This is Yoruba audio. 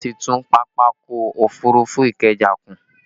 Wọn ti tún Pápákọ̀ òfurufú Ikeja kùn